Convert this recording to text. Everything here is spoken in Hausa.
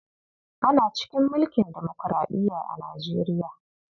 Ana cikin mulkin demokuraɗiya a Nijeriya.